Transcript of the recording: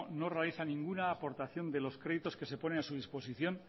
no realiza ninguna aportación de los créditos que se ponen a su disposición